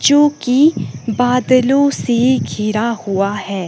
जो कि बादलों से घिरा हुआ है।